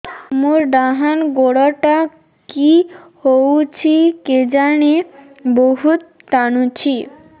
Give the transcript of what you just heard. ମୋର୍ ଡାହାଣ୍ ଗୋଡ଼ଟା କି ହଉଚି କେଜାଣେ ବହୁତ୍ ଟାଣୁଛି